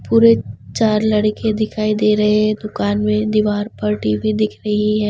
पूरे चार लड़के दिखाई दे रहे हैं दुकान में दीवार फटी हुई दिख रही है।